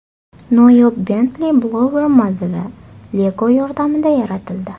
Noyob Bentley Blower modeli Lego yordamida yaratildi .